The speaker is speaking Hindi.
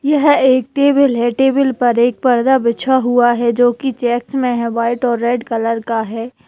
यह एक टेबल है टेबल पर एक पर्दा बिछा हुआ है जो कि चेक्स मे है व्हाइट और रेड कलर का है।